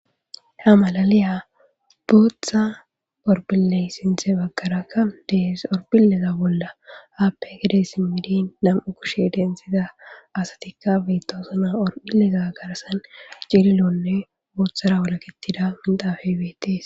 Ha malaliya booththa horphphile sinththe baggarakka de7ees horphphileza bolla haappe gede simmidi nam7u kushshe denttiza asatikka beetoosona. Horophphileza garssan cililonne booththara wolaketiza beetees.